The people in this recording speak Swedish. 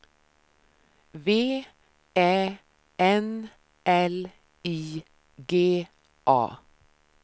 V Ä N L I G A